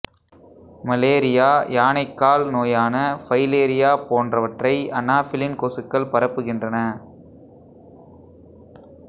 malaria யானைக்கால் நோயான filaria போன்றவற்றை அனாஃபிலின் கொசுக்கள் பரப்புகின்றன